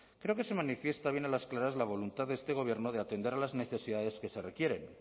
creo que se manifiesta bien a las claras la voluntad de este gobierno de atender las necesidades que se requieren